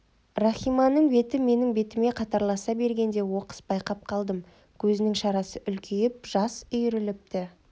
рахиманың беті менің бетіме қатарласа бергенде оқыс байқап қалдым көзінің шарасы үлкейіп жас үйіріліпті